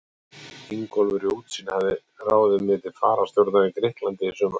Ingólfur í Útsýn hafði ráðið mig til fararstjórnar í Grikklandi sumarið